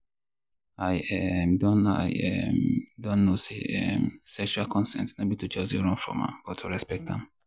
i um don i um don know say um sexual consent no be to just they run from am but to respect am.